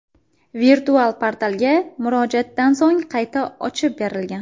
Virtual portalga murojaatdan so‘ng qayta ochib berilgan.